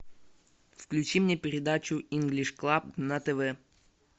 включи мне передачу инглиш клаб на тв